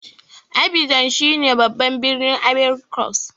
Abidjan shine babban birnin Ivory cost.